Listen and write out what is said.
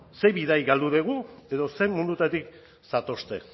ze bidai galdu dugu edo ze mundutatik zatozte